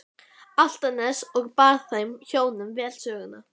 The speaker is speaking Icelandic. Álftanes og bar þeim hjónum vel söguna.